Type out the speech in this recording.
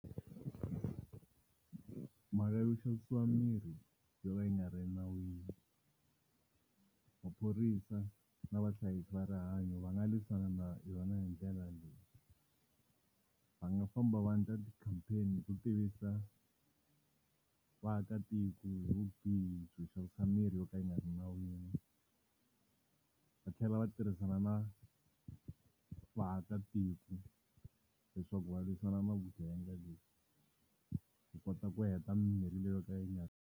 Mhaka yo xavisiwa mirhi yo ka yi nga ri nawini, maphorisa na vahlayisi va rihanyo va nga lwisana na yona hi ndlela leyi. Va nga famba va endla ti-campaign-i hi ku tivisa vaakatiko hi vubihi byo xavisa mirhi yo ka yi nga ri nawini, va tlhela va tirhisana na vaakatiko leswaku va lwisana na vugevenga leyi, hi kota ku heta mimirhi leyi yo ka yi nga .